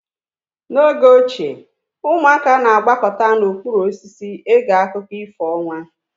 N'oge ochie ụmụaka na-agbakọta n'okpuru osisi ege akụkọ ifo ọnwa.